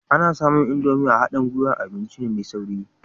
Ana samun Indomie a haɗin gwiwar abinci mai sauri